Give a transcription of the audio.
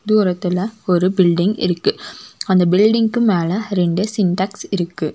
தூரத்துல ஒரு பில்டிங் இருக்கு அந்த பில்டிங்க்கு மேல ரெண்டு சின்டெக்ஸ் இருக்கு.